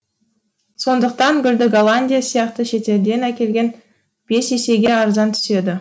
сондықтан гүлді голландия сияқты шетелден әкелген бес есеге арзан түседі